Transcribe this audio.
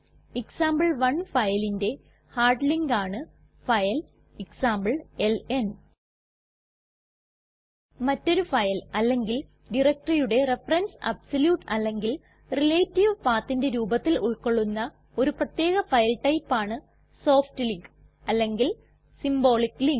example one ഫയലിന്റെ hard link ആണ് file എക്സാംപ്ലെൽൻ മറ്റൊരു ഫയൽ അല്ലെങ്കിൽ directoryയുടെ റഫറൻസ് അബ്സല്യൂട്ട് അല്ലെങ്കിൽ റിലേറ്റീവ് pathന്റെ രൂപത്തിൽ ഉൾകൊള്ളുന്ന ഒരു പ്രത്യേക ഫയൽ ടൈപ്പ് ആണ് സോഫ്റ്റ് ലിങ്ക് അല്ലെങ്കിൽ സിംബോളിക് ലിങ്ക്